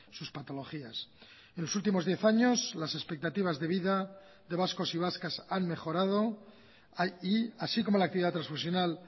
sus patologías en los últimos diez años las expectativas de vida de vascos y vascas han mejorado y así como la actividad transfusional